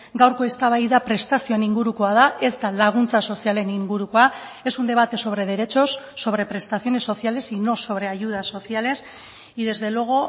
gaurko eztabaida prestazioen ingurukoa da ez da laguntza sozialen ingurukoa es un debate sobre derechos sobre prestaciones sociales y no sobre ayudas sociales y desde luego